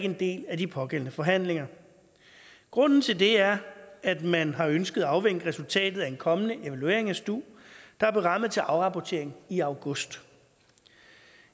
en del af de pågældende forhandlinger grunden til det er at man har ønsket at afvente resultatet af en kommende evaluering af stu der er berammet til afrapportering i august